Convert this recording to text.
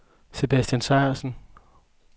Sebastian Sejersen